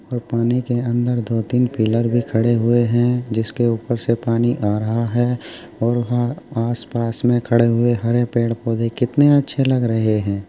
और पानी के अंदर दो तीन पिलर भी खड़े हुए हैं जिसके ऊपर से पानी आ रहा है और हा आस-पास में खड़े हुए हरे पेड़-पौधे कितने अच्छे लग रहे हैं।